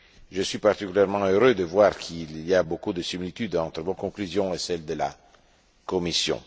Je suis particulièrement heureux de voir qu'il y a beaucoup de similitudes entre vos conclusions et celles de la Commission.